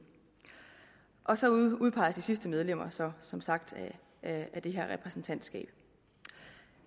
og så udpeges de sidste medlemmer så som sagt af det her repræsentantskab